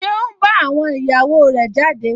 Ṣé ó n bá àwọn ìyàwó rẹ̀ jáde?